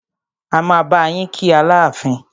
A máa bá yín kí Aláàfin.